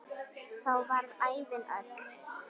Þá varð ævin öll.